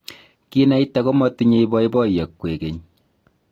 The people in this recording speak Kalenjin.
kinaita komatinyei boiboiyo kwekeny